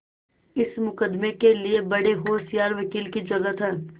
इस मुकदमें के लिए बड़े होशियार वकील की जरुरत है